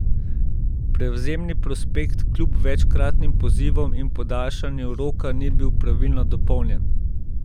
Prevzemni prospekt kljub večkratnim pozivom in podaljšanju roka ni bil pravilno dopolnjen.